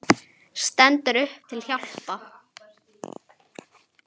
Stendur upp til að hjálpa.